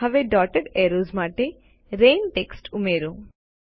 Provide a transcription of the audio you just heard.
હવે dotted arrows માટે રેન ટેક્સ્ટ ઉમેરો